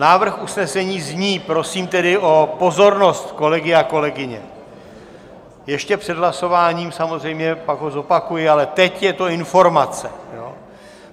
Návrh usnesení zní - prosím tedy o pozornost kolegy a kolegyně, ještě před hlasováním samozřejmě, pak ho zopakuji, ale teď je to informace.